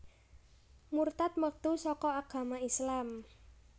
Murtad metu saka agama Islam